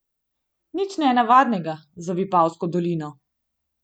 Nič nenavadnega za Vipavsko dolino.